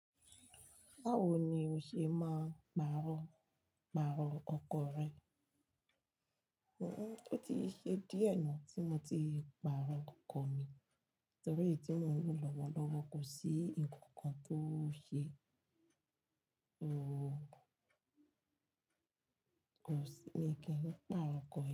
Báwo ni o ṣe máa ń pàrọ̀, pàrọ̀ ọkọ rẹ? Hihun, ó ti ṣe díẹ̀ náà tí mo ti pàrọ̀ ọkọ̀ mi torí iyi tí mo ń lo lọ́wọ́lọ́wọ́ kò sí ǹnkan kan tó ṣe, ooo, kò sí ǹi ki n nípa ọkọ̀ yen.